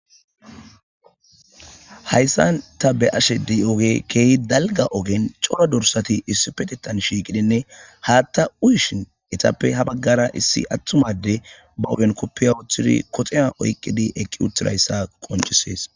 hayssan ta be ashedi oge keehi dalga ogen coro dursati issi petetan shiiqidinne haatta uyishin itappe ha baggara issi attumade ba uben koppiya uoththidi koxeya oyqqidi eqqi uttirayssa qoncisees